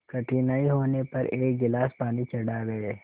कठिनाई होने पर एक गिलास पानी चढ़ा गए